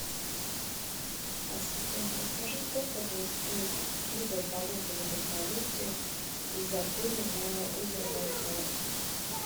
ассистент расскажи сколько будет стоить услуга полета на вертолете из отеля на озеро байкал